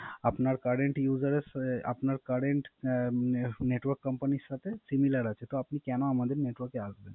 আপনার Current Network Company এর সাথে Similar আছে তো আপনি কেন আমাদের Network এ আসবেন না